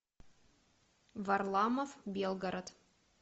варламов белгород